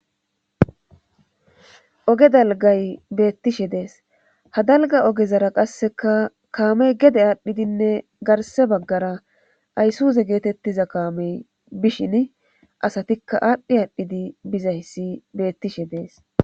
Oge dalgay beettishe dees hadalga ogezara qasseka kaamey gede aadhdhidinne garse baggara ayssuze geetettiza kaamey bishin asatikka aadhdhi aadhdhidi bizayssi beettishe dees